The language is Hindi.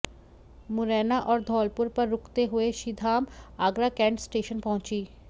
मुरैना और धौलपुर पर रूकते हुए श्रीधाम आगरा कैंट स्टेशन पहुंची